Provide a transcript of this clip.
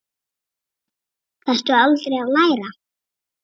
Þarftu aldrei að læra?